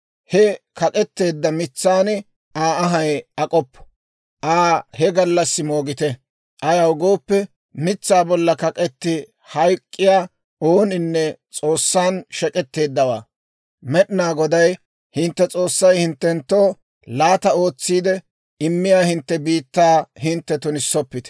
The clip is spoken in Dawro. he kak'etteedda mitsan Aa anhay ak'oppo; Aa he gallassi moogite. Ayaw gooppe, mitsaa bollan kak'etti hayk'k'iyaa ooninne S'oossan shek'etteeddawaa. Med'inaa Goday hintte S'oossay hinttenttoo laata ootsiide immiyaa hintte biittaa hintte tunissoppite.